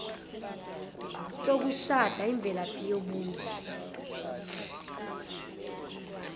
sokushada imvelaphi yobuzwe